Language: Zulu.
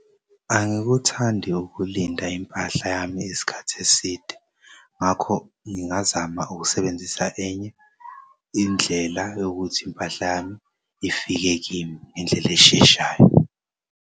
Angikuthandi ukulinda impahla yami isikhathi eside ngakho ngingazama ukusebenzisa enye indlela yokuthi impahla yami ifike kimi ngendlel'esheshayo.